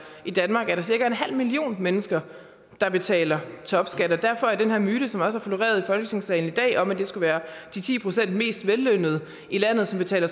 i danmark er der cirka en halv million mennesker der betaler topskat og derfor er den her myte som også har floreret i folketingssalen i dag om at det skulle være de ti procent mest vellønnede i landet som betaler